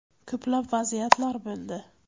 Ko‘plab vaziyatlar bo‘ldi.